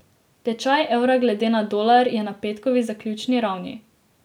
Tečaj evra glede na dolar je na petkovi zaključni ravni.